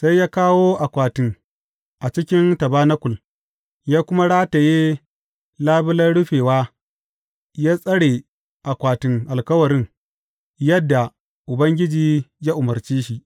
Sai ya kawo akwatin a cikin tabanakul, ya kuma rataye labulen rufewa ya tsare akwatin Alkawarin, yadda Ubangiji ya umarce shi.